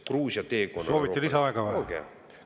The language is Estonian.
Kas soovite lisaaega?